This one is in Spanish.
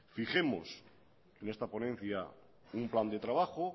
fijemos en esta ponencia un plan de trabajo